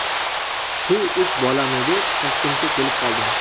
Shu uch bolamni deb Toshkentga kelib qoldim.